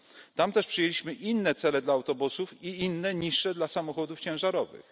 Tam też przyjęliśmy inne cele dla autobusów i inne, niższe dla samochodów ciężarowych.